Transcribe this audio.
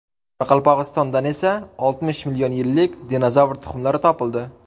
Qoraqalpog‘istondan esa oltmish million yillik dinozavr tuxumlari topildi .